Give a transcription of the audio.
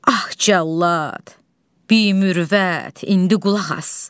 Ax Cəllad, biimürvət, indi qulaq as.